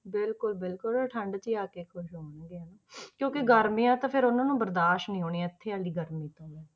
ਬਿਲਕੁਲ ਬਿਲਕੁਲ ਉਹ ਠੰਢ 'ਚ ਹੀ ਆ ਕੇ ਖ਼ੁਸ਼ ਹੋਣਗੇ ਹਨਾ ਕਿਉਂਕਿ ਗਰਮੀਆਂ ਤਾਂ ਫਿਰ ਉਹਨਾਂ ਨੂੰ ਬਰਦਾਸ਼ਤ ਨੀ ਹੋਣੀਆਂ ਇੱਥੇ ਦੀ ਗਰਮੀ ਤਾਂ ਉਹਨਾਂ ਨੂੰ